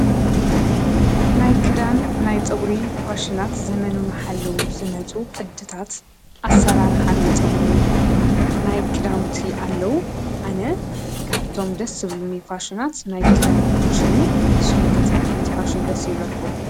ናይ ክዳን ናይ ፀጉሪ ፋሽናት ዘመኑ ዝሓለው ቅድታት ኣሰራርሓ ናይ ፀጉሪ ናይ ክዳውንቲ ኣለው:: ኣነ ካብቶም ደስ ዝብሉኒ ፋሽናት ናይ ክዳን ፋሽን እዩ። ንስኩም ከ እንታይ ዓይነት ፋሽን ድስ ይብሎኩም?